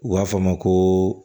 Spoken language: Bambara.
U b'a fɔ a ma ko